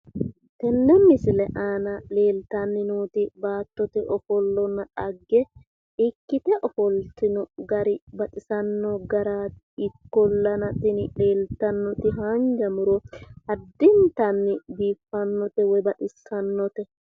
Tenne misile aana leeltanni nooti baattote ofollonna dhagge ikkite ofoltino gari baxisanno garaati ikkollana tini leeltannoti haanja muro addintanni biiffannote woy baxissannote